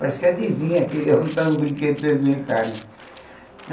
Parece que adivinha que ele brinquedo para eles brincarem.